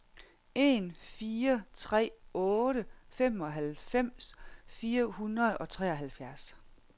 en fire tre otte femoghalvfems fire hundrede og treoghalvfjerds